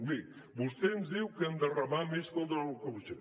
bé vostè ens diu que hem de remar més contra la corrupció